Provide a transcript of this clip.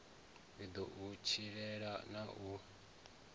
ḓo u tshilela na u